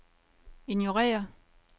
ignorér